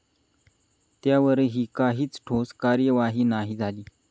त्यावरही काहीच ठोस कार्यवाही झाली नाही.